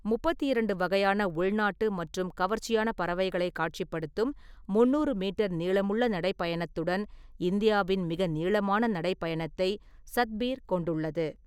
முப்பத்தி இரண்டு வகையான உள்நாட்டு மற்றும் கவர்ச்சியான பறவைகளை காட்சிப்படுத்தும் முந்நூறு மீட்டர் நீளமுள்ள நடைப்பயணத்துடன் இந்தியாவின் மிக நீளமான நடைப்பயணத்தை சத்பீர் கொண்டுள்ளது.